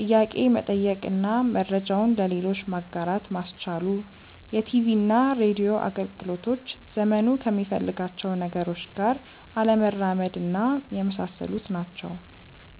ጥያቄ መጠየቅ እና መረጃውን ለሌሎች ማጋራት ማስቻሉ፣ የቲቪና ሬድዮ አገልግሎቶች ዘመኑ ከሚፈልጋቸው ነገሮች ጋር አለመራመድና የመሳሰሉት ናቸው።